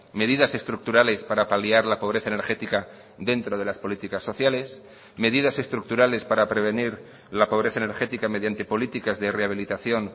medidas estructurales para paliar la pobreza energética dentro de las políticas sociales medidas estructurales para prevenir la pobreza energética mediante políticas de rehabilitación